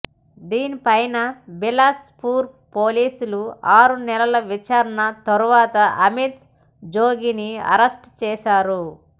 దీని పైన బిలాస్ పూర్ పోలీసులు ఆరు నెలల విచారణ తరువాత అమిత్ జోగిని అరెస్ట్ చేసారు